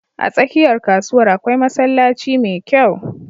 A tsakiyar kasuwar akwai masallaci mai kyau.